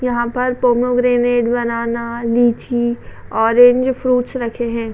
यहां पर pomegranate banana lychee orange fruits रखे हैं।